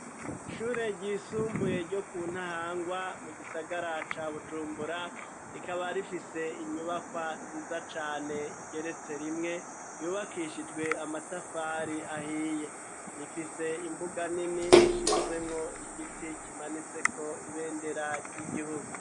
Ishure ryisumbuye ryo ku ntahangwa mu gisagara ca bujumbura rikaba rifise inyubakwa nziza cane igeretse rimwe yubakishijwe amatafari ahiye rifise imbuga nini ishinzemwo igiti kimanitseko ibendera ry'igihugu.